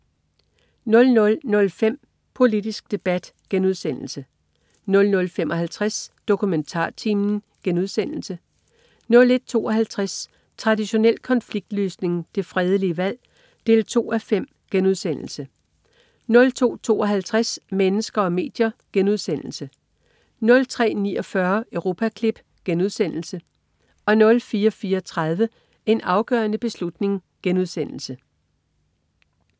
00.05 Politisk debat* 00.55 DokumentarTimen* 01.52 Traditionel konfliktløsning. Det fredelige valg 2:5* 02.52 Mennesker og medier* 03.49 Europaklip* 04.34 En afgørende beslutning*